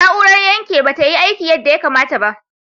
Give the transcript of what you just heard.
Na'urar yanke ba ta yi aiki yadda ya kamata ba.